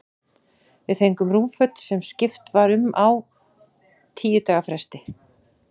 Við fengum rúmföt, sem skipt var um á tíu daga fresti.